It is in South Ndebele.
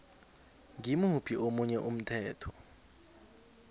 ngimuphi omunye umthetho